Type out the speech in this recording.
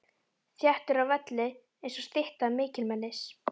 Þéttur á velli einsog stytta mikilmennis.